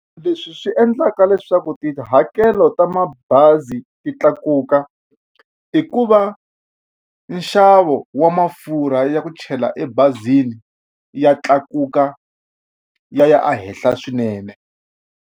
Leswi swi endlaka leswaku tihakelo ta mabazi ti tlakuka i ku va nxavo wa mafurha ya ku chela ebazini ya tlakuka ya ya a henhla swinene.